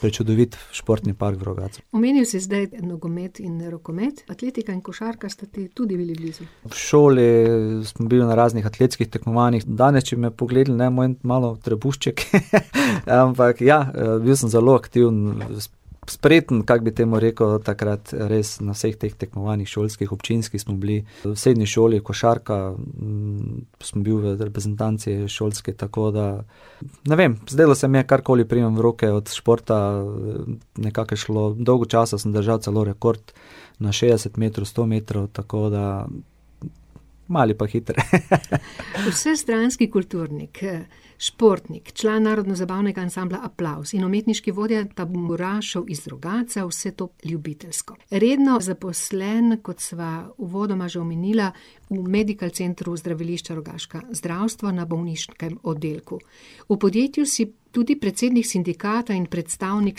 prečudoviti športni park v Rogatcu. Omenil si zdaj nogomet in rokomet, atletika in košarka sta ti tudi bili blizu. V šoli sem bil na raznih atletskih tekmovanjih, danes če bi me pogledal, ne, malo trebušček , ampak ja, bil sem zelo aktiven, spreten, kako bi temu rekel, takrat res na vseh teh tekmovanjih šolskih, občinskih smo bili. V srednji šoli košarka, sem bil v reprezentanci šolski, tako da ne vem, zdelo se mi je, karkoli primem v roke od športa, nekako je šlo. Dolgo časa sem držal celo rekord na šestdeset metrov, sto metrov, tako da ... Mali pa hiter . Vsestranski kulturnik, športnik, član narodnozabavnega ansambla Aplavz in umetniški vodja Tamburašev iz Rogatca, vse to ljubiteljsko. Redno zaposlen, kot sva uvodoma že omenila, v Medical centru v Zdravilišču Rogaška, zdravstvo na bolniškem oddelku. V podjetju si tudi predsednik sindikata in predstavnik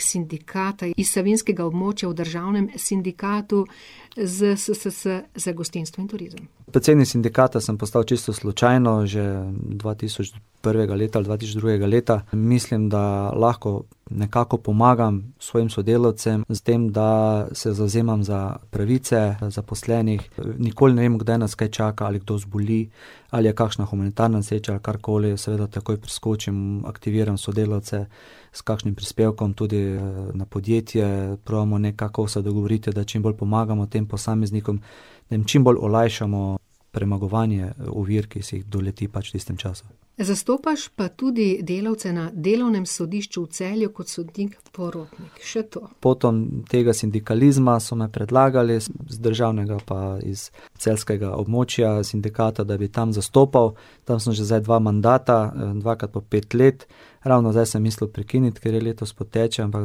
sindikata iz savinjskega območja v državnem sindikatu ZSSS za gostinstvo in turizem. Predsednik sindikata sem postal čisto slučajno, že dva tisoč prvega leta ali dva tisoč drugega leta. Mislim, da lahko nekako pomagam svojim sodelavcem s tem, da se zavzemam za pravice zaposlenih. Nikoli ne vemo, kdaj nas kaj čaka, ali kdo zboli ali je kakšna humanitarna nesreča ali karkoli, seveda takoj priskočim, aktiviram sodelavce s kakšnim prispevkom tudi, na podjetje, probamo nekako se dogovoriti, da čim bolj pomagamo tem posameznikom, da jim čim bolj olajšamo premagovanje ovir, ki se jih doleti pač v tistem času. Zastopaš pa tudi delavce na Delovnem sodišču v Celju kot sodnik porotnik, še to. Potom tega sindikalizma so me predlagali z državnega pa iz celjskega območja sindikata, da bi tam zastopal. Tam sem že zdaj dva mandata, dvakrat po pet. Ravno zdaj sem mislil prekiniti, ker je letos poteče, ampak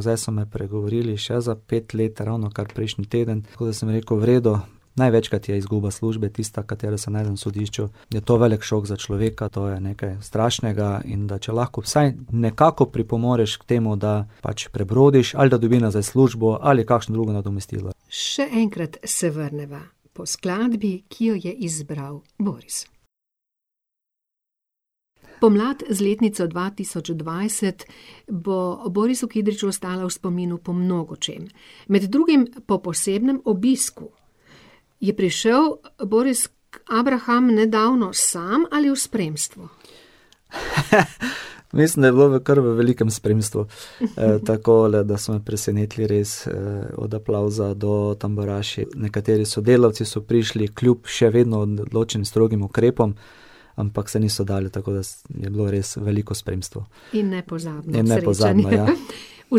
zdaj so me pregovorili še za pet let, ravnokar prejšnji teden, tako da sem rekel: "V redu." Največkrat je izguba službe tista, katera se sodišču, je to velik šok za človeka, to je nekaj strašnega, in da če lahko vsaj nekako pripomoreš k temu, da pač prebrodiš ali da dobi nazaj službo ali kakšno drugo nadomestilo. Še enkrat se vrneva po skladbi, ki jo je izbral Boris. Pomlad z letnico dva tisoč dvajset bo Borisu Kidriču ostala v spominu po mnogočem. Med drugim po posebnem obisku. Je prišel, Boris, abraham nedavno sam ali v spremstvu? , mislim da, je bilo v kar velikem spremstvu. takole, da so me presenetili, res, od Aplavza do tamburaši, nekateri sodelavci so prišli, kljub še vedno določenim strogim ukrepom. Ampak se niso dali, tako da je bilo res veliko spremstvo. In nepozabno srečanje. In nepozabno, ja. V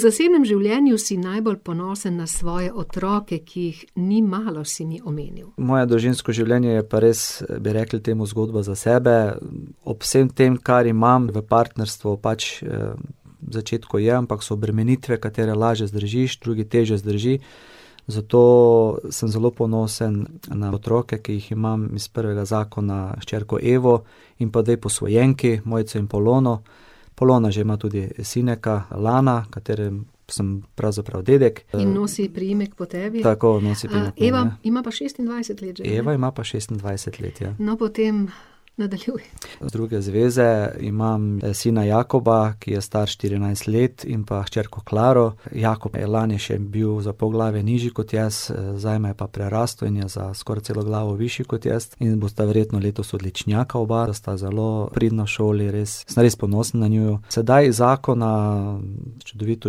zasebnem življenju si najbolj ponosen na svoje otroke, ki jih ni malo, si mi omenil. Moje družinsko življenje je pa res, bi rekli temu, zgodba za sebe. Ob vsem tem, kar imam, v partnerstvu pač, v začetku je, ampak so obremenitve, katere lažje zdržiš, drugi težje zdrži. Zato sem zelo ponosen na otroke, ki jih imam iz prvega zakona, hčerko Evo in pa dve posvojenki, Mojco in Polono. Polona že ima tudi sinka Lana, katerem se pravzaprav dedek. In nosi priimek po tebi? Tako, nosi priimek po meni, ja. Eva ima pa šestindvajset let že, ne? Eva ima pa šestindvajset let, ja. No, potem nadaljuj ... Z druge zveze imam, sina Jakoba, ki je star štirinajst let in pa hčerko Klaro. Jakob je lani še bil za pol glave nižji kot jaz, zdaj me je pa prerastel in je za skoraj celo glavo višji kot jaz. In bosta verjetno letos odličnjaka oba, sta zelo pridna v šoli, res, sem res ponosen na njiju. Sedaj zakona s čudovito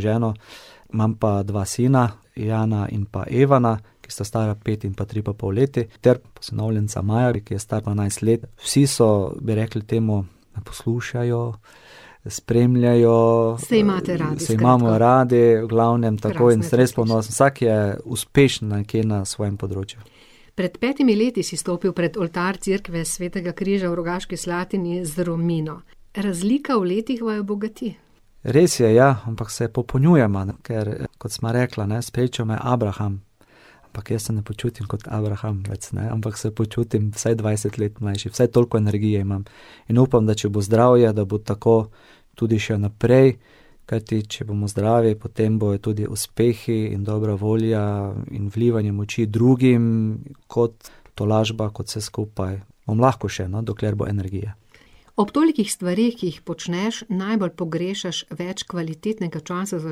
ženo, imam pa dva sina, Jana in pa Evana, ki sta stara pet in pa tri pa pol let ter posinovljenca Maja, ki je star dvanajst let. Vsi so, bi rekli temu, poslušajo, spremljajo ... Se imate radi, skratka. se imamo radi. V glavnem sem res ponosen, vsak je uspešen nekje na svojem področju. Pred petimi leti si stopil pred oltar Cerkve sv. Križa v Rogaški Slatini z Romino. Razlika v letih vaju bogati. Res je, ja, ampak se popolnjujeva. Ker, kot sva rekla, ne, me je abraham. Ampak jaz se ne počutim kot abrahamovec, ne, ampak se počutim vsaj dvajset let mlajši, vsaj toliko energije imam. In upam, da če bo zdravja, da bo tako tudi še naprej, kajti če bomo zdravi, potem bojo tudi uspehi in dobra volja in vlivanje moči drugim kot tolažba kot vse skupaj, bom lahko še, no, dokler bo energija. Ob tolikih stvareh, ki jih počneš, najbolj pogrešaš več kvalitetnega časa za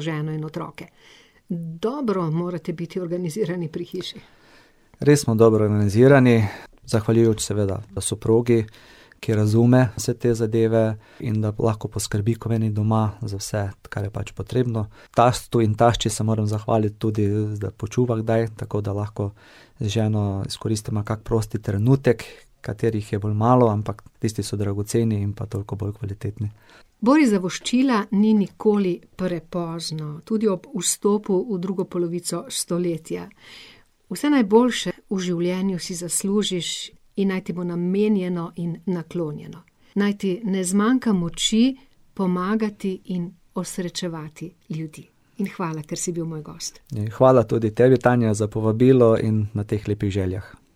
ženo in otroke. Dobro morate biti organizirani pri hiši. Res smo dobro organizirani. Zahvaljujoč seveda soprogi, ki razume vse te zadeve in da lahko poskrbi, ko mene ni doma, za vse, kar je pač potrebno. Tastu in tašči se moram zahvaliti tudi, da počuva kdaj, tako da lahko z ženo izkoristiva kak prosti trenutek, katerih je bolj malo, ampak tisti so dragoceni in toliko bolj kvalitetni. Boris, za voščila ni nikoli prepozno. Tudi ob vstopu v drugo polovico stoletja. Vse najboljše v življenju si zaslužiš in naj ti bo namenjeno in naklonjeno. Naj ti ne zmanjka moči pomagati in osrečevati ljudi. In hvala, ker si bil moj gost. Hvala tudi tebi, Tanja, za povabilo in na teh lepih željah.